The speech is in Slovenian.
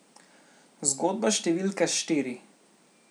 Zgodba številka štiri.